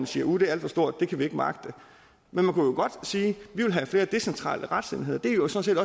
sige uh det er alt for stort det kan vi ikke magte men man kunne jo godt sige vi vil have flere decentrale retsenheder det er jo sådan